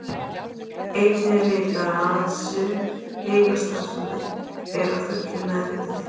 Einnig er vitað að aðeins sum heilastarfsemi er að fullu meðvituð.